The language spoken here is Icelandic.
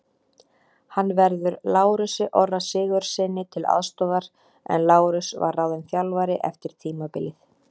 Hann verður Lárusi Orra Sigurðssyni til aðstoðar en Lárus var ráðinn þjálfari eftir tímabilið.